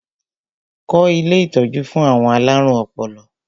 Kọ́ ilé ìtọ́jú fún àwọn alárùn ọpọlọ!